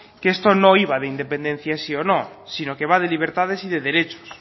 que esto no iba de independencia sí o no sino que va de libertades y de derechos